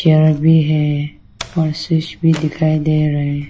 भी है और स्विच भी दिखाई दे रहा है।